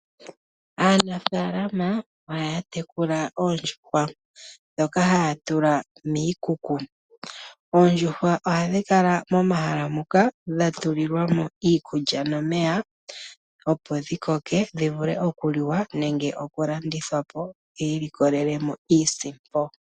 Aanafaalama ohaya tekula oondjuhwa ndhoka haya tula miikuku. Oondjuhwa ohadhi kala momahala muka dha tulilwa mo iikulya nomeya, opo dhi koke dhi vule okuliwa nenge okulandithwa po, yi ilikolele mo iisimpo.